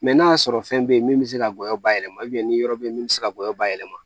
n'a y'a sɔrɔ fɛn be yen min bɛ se ka gɔyɔ ba yɛlɛma ni yɔrɔ bɛ yen min bɛ se ka gɔyɔ bayɛlɛma